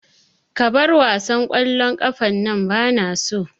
Ka bar wasan ƙwallon ƙafan nan bana so